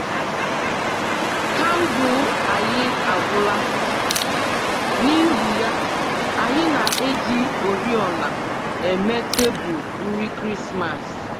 Kandụl anyi agwụla, n’ihi ya, anyị na-eji oriọna eme tebụl nri Krismas